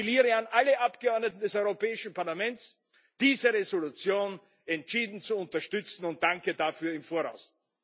Ich appelliere an alle Mitglieder des Europäischen Parlaments, diese Entschließung entschieden zu unterstützen, und danke dafür im Voraus.